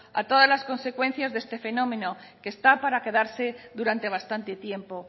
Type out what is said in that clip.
a todas las consecuencias de este fenómeno que está para quedarse durante bastante tiempo